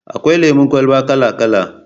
Akwai lemon kwalba kala-kala